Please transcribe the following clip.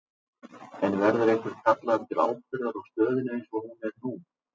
En verður einhver kallaður til ábyrgðar á stöðunni eins og hún er nú?